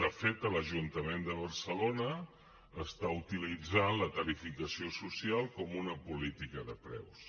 de fet l’ajuntament de barcelona està utilitzant la tarifació social com una política de preus